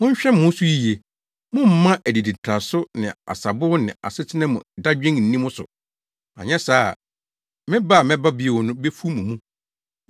“Monhwɛ mo ho so yiye! Mommma adiditraso ne asabow ne asetena mu dadwen nni mo so, anyɛ saa a, me ba a mɛba bio no befu mo mu.